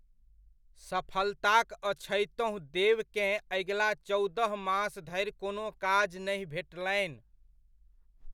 सफलताक अछैतहुँ देवकेँ अगिला चौदह मास धरि कोनो काज नहि भेटलनि।